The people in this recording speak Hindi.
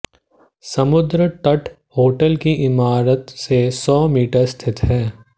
समुद्र तट होटल की इमारत से सौ मीटर स्थित है